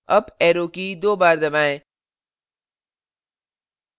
up arrow की दो बार दबाएं